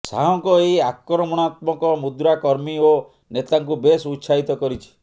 ଶାହଙ୍କ ଏହି ଆକ୍ରମଣାତ୍ମକ ମୁଦ୍ରା କର୍ମୀ ଓ ନେତାଙ୍କୁ ବେଶ୍ ଉତ୍ସାହିତ କରିଛି